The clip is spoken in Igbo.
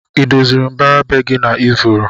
Idoziri mbara be gi na ifuru?